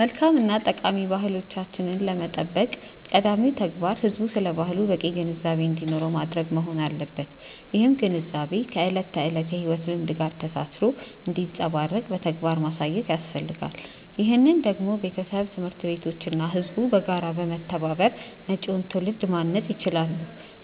መልካም እና ጠቃሚ ባህሎቻችንን ለመጠበቅ ቀዳሚው ተግባር ህዝቡ ስለ ባህሉ በቂ ግንዛቤ እንዲኖረው ማድረግ መሆን አለበት። ይህም ግንዛቤ ከዕለት ተዕለት የሕይወት ልምምድ ጋር ተሳስሮ እንዲንጸባረቅ በተግባር ማሳየት ያስፈልጋል። ይህንን ደግሞ ቤተሰብ፣ ትምህርት ቤቶች እና ህዝቡ በጋራ በመተባበር መጪውን ትውልድ ማነጽ ይችላሉ።